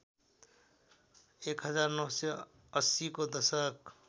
१९८० को दशक